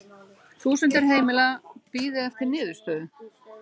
Þúsundir heimila bíði eftir niðurstöðu